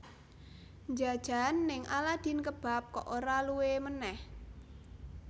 Njajan ning Aladin Kebab kok ora luwe meneh